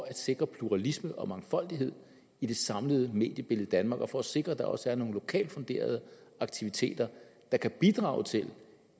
at sikre pluralisme og mangfoldighed i det samlede mediebillede i danmark og for at sikre at der også er nogle lokalt funderede aktiviteter der kan bidrage til